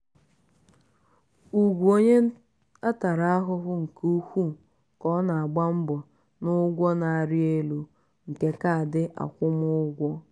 ugwu onwe ya tara ahụhụ nke ukwuu ka ọ na-agba mbọ n´ụgwọ na-arị elu nke kaadị akwụmụgwọ.